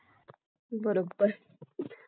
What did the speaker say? अगदी बरोबर